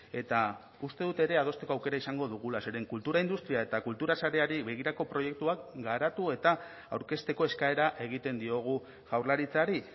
eta uste dut ere adosteko aukera izango dugula zeren kultura industria eta kultura sareari begirako proiektuak garatu eta aurkezteko eskaera egiten diogu jaurlaritzari